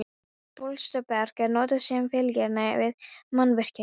Bólstraberg er notað sem fyllingarefni við mannvirkjagerð.